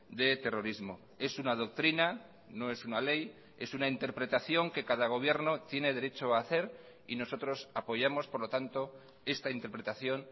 de terrorismo es una doctrina no es una ley es una interpretación que cada gobierno tiene derecho a hacer y nosotros apoyamos por lo tanto esta interpretación